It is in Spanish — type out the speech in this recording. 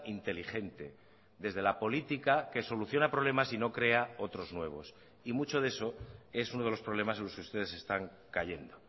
inteligente desde la política que soluciona problemas y no crea otros nuevos y mucho de eso es uno de los problemas en los que ustedes están cayendo